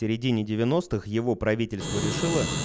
середине девяностых его правительство решило